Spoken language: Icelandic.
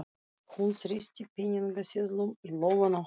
Hún þrýsti peningaseðlum í lófann á honum.